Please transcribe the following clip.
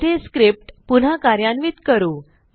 येथे स्क्रिप्ट पुन्हा कार्यान्वित करू